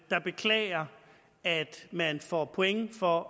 der beklager at man får point for